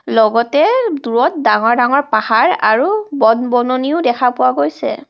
লগতে দূৰত ডাঙৰ ডাঙৰ পাহাৰ আৰু বন-বননিও দেখা পোৱা গৈছে।